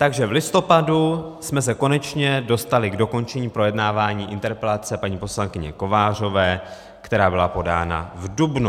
Takže v listopadu jsme se konečně dostali k dokončení projednávání interpelace paní poslankyně Kovářové, která byla podána v dubnu.